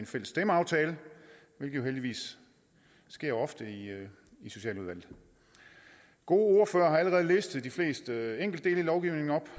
fælles stemmeaftale hvilket jo heldigvis sker ofte i i socialudvalget gode ordførere har allerede listet de fleste enkeltdele i lovgivningen op